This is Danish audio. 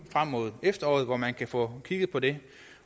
frem mod efteråret hvor man kan få kigget på det